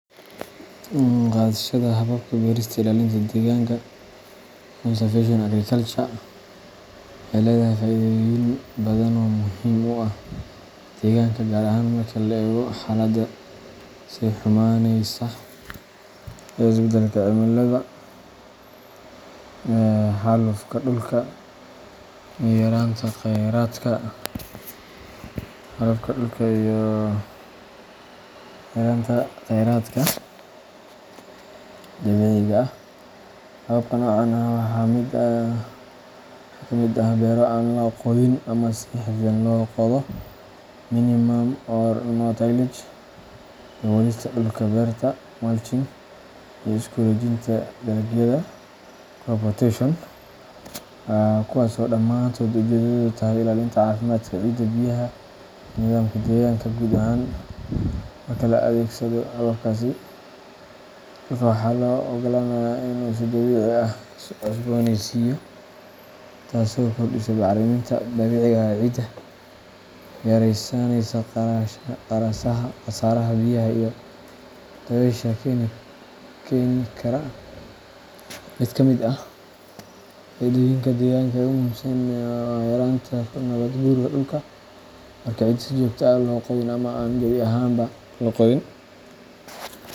Qaadashada hababka beerista ilaalinta deegaanka conservation agriculture waxay leedahay faa’iidooyin badan oo muhiim u ah deegaanka, gaar ahaan marka la eego xaalada sii xumaanaysa ee isbedelka cimilada, xaalufka dhulka, iyo yaraanta kheyraadka dabiiciga ah. Hababka noocan ah waxaa ka mid ah beero aan la qodin ama si xadidan loo qodo minimum or no-tillage, daboolista dhulka beerta mulching, iyo isku-wareejinta dalagyada crop rotation, kuwaas oo dhammaantood ujeedadoodu tahay ilaalinta caafimaadka ciidda, biyaha, iyo nidaamka deegaanka guud ahaan. Marka la adeegsado hababkaasi, dhulka waxaa loo ogolaanayaa inuu si dabiici ah isu cusbooneysiiyo, taasoo kordhisa bacrinta dabiiciga ah ee ciidda, yaraysanaaya khasaaraha biyaha iyo dabaysha keeni kara. Mid ka mid ah faa’iidooyinka deegaanka ee ugu muhiimsan waa yareynta nabaad guurka dhulka. Marka ciidda aan si joogto ah loo qodin ama aan gabi ahaanba la qodin.